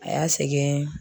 A y'a sɛgɛn.